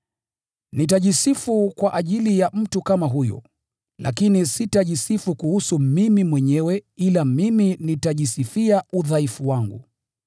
Nitajisifu kwa ajili ya mtu kama huyo, lakini sitajisifu kuhusu mimi mwenyewe ila mimi nitajisifia udhaifu wangu.